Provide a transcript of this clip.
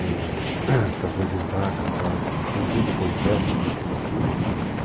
e se apresentar, cantar, em público ou em festa, alguma coisa assim.